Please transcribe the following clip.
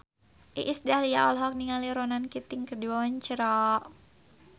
Iis Dahlia olohok ningali Ronan Keating keur diwawancara